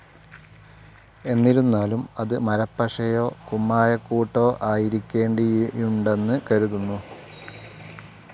എന്നിരുന്നാലും അത് മരപ്പശയോ കുമ്മായക്കൂട്ടോ ആയിരിക്കേണ്ടിയുണ്ടെന്നു കരുതുന്നു.